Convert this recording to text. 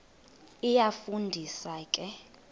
iyafu ndisa ke